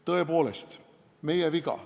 Tõepoolest, meie viga.